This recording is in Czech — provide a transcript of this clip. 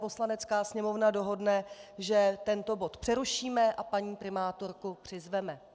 Poslanecká sněmovna dohodne, že tento bod přerušíme a paní primátorku přizveme.